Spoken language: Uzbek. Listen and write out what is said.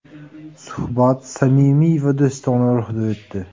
Suhbat samimiy va do‘stona ruhda o‘tdi.